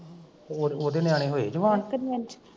ਹੋਰ ਉਹਦੇ ਨਿਆਣੇ ਹੋਏ ਜਵਾਨ